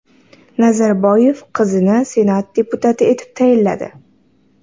Nazarboyev qizini senat deputati etib tayinladi.